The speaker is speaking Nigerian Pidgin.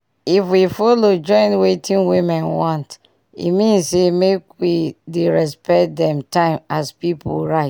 if we follow join wetin women want e mean say make we dey respect dem time as pipu right